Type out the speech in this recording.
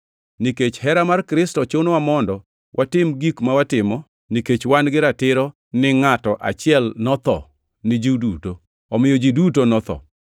Nikech hera mar Kristo chunowa mondo watim gik ma watimo, nikech wan gi ratiro ni ngʼato achiel notho ni ji duto; omiyo ji duto notho.